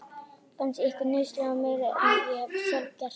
Fannst ykkur nauðsynlegt að hegna mér meira en ég hef sjálf gert?